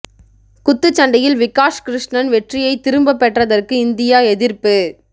குத்துச் சண்டையில் விகாஷ் கிருஷ்ணன் வெற்றியை திரும்பப் பெற்றதற்கு இந்தியா எதிர்ப்பு